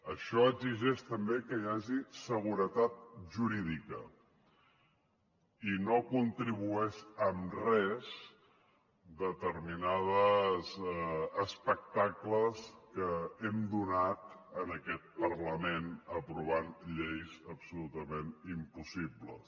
això exigeix també que hi hagi seguretat jurídica i no hi contribueixen en res determinats espectacles que hem donat en aquest parlament aprovant lleis absolutament impossibles